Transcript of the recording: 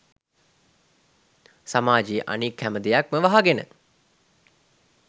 සමාජයේ අනික් හැම දෙයක්ම වහගෙන.